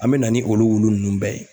An be na ni olu wulu unnu bɛɛ ye